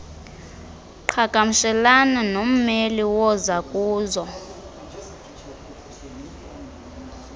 qhagamshelana nommeli wozakuzo